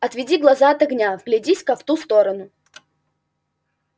отведи глаза от огня вглядись-ка в ту сторону